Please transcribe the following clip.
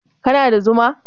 kana da Zuma?